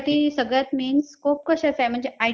job साठी सगळ्यात main scope कशात आहे म्हणजे